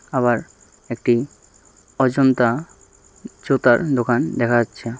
আবার একটি অজন্তা জুতার দোকান দেখা যাচ্ছে।